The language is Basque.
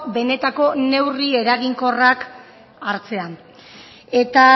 benetako neurri eraginkorrak hartzea eta